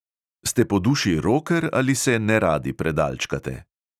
Ste po duši roker ali se neradi predalčkate?